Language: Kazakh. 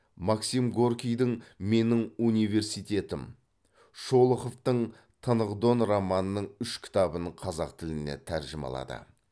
максим горькийдің менің университетім шолоховтың тынық дон романының үш кітабын қазақ тіліне тәржімалады